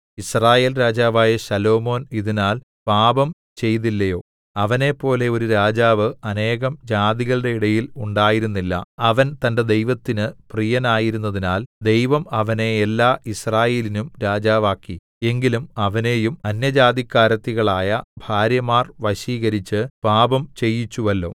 യിസ്രായേൽ രാജാവായ ശലോമോൻ ഇതിനാൽ പാപം ചെയ്തില്ലയോ അവനെപ്പോലെ ഒരു രാജാവ് അനേകം ജാതികളുടെ ഇടയിൽ ഉണ്ടായിരുന്നില്ല അവൻ തന്റെ ദൈവത്തിന് പ്രിയനായിരുന്നതിനാൽ ദൈവം അവനെ എല്ലാ യിസ്രായേലിനും രാജാവാക്കി എങ്കിലും അവനെയും അന്യജാതിക്കാരത്തികളായ ഭാര്യമാർ വശീകരിച്ച് പാപം ചെയ്യിച്ചുവല്ലോ